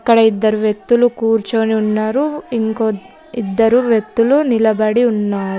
ఇక్కడ ఇద్దరు వ్యక్తులు కూర్చొని ఉన్నారు ఇంకో ఇద్దరు వ్యక్తులు నిలబడి ఉన్నారు.